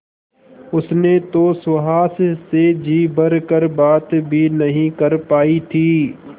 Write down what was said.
उसने तो सुहास से जी भर कर बात भी नहीं कर पाई थी